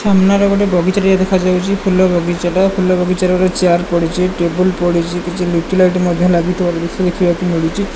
ସାମ୍ନାରେ ଗୋଟେ ବଗିଚା ଟିଏ ଦେଖାଯାଉଚି ଫୁଲ ବଗିଚା ଟା ଫୁଲ ବଗିଚାରେ ଗୋଟେ ଚେୟାର ପଡ଼ିଚି ଟେବୁଲ୍ ପଡ଼ିଛି କିଛି ଲିଚୁ ଲାଇଟ୍ ଲାଗିଥିବାର ଦୃଶ୍ୟ ଦେଖିବାକୁ ମିଳୁଚି ।